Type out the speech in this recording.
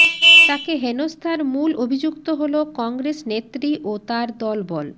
তাকে হেনস্তার মূল অভিযুক্ত হল কংগ্রেস নেত্রী ও তার দলবল